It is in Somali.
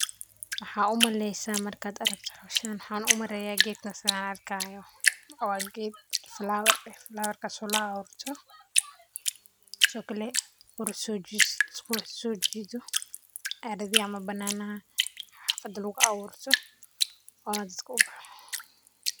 Maxaa u maleysaa markaad aragto hawshan, maxan u maleya geedkan sithan arki hayo waa geed flower war eh flower warka oo laaburto, sithokale qurux sojidho, eridhaha ama bananaha xafada aburto, oo dadka u baxo.